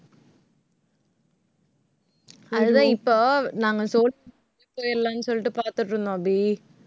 அதுதான் இப்போ நாங்க சோழிங்~ போயிரலான்னு சொல்லிட்டு பார்த்துட்டு இருந்தோம் அபி